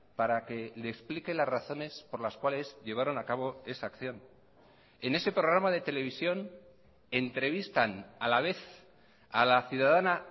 para que le explique las razones por las cuales llevaron a cabo esa acción en ese programa de televisión entrevistan a la vez a la ciudadana